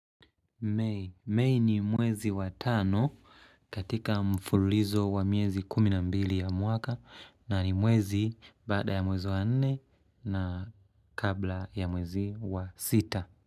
Mei ni mwezi wa tano katika mfululizo wa miezi kumi na mbili ya mwaka na ni mwezi baada ya mwezi wa nne na kabla ya mwezi wa sita.